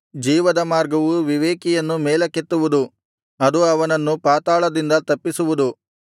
ಜೀವದ ಮಾರ್ಗವು ವಿವೇಕಿಯನ್ನು ಮೇಲಕ್ಕೆತ್ತುವುದು ಅದು ಅವನನ್ನು ಪಾತಾಳದಿಂದ ತಪ್ಪಿಸುವುದು